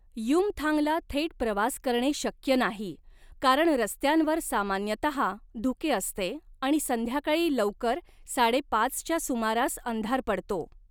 युमथांगला थेट प्रवास करणे शक्य नाही, कारण रस्त्यांवर सामान्यतहा धुके असते आणि संध्याकाळी लवकर साडेपाचच्या सुमारास अंधार पडतो.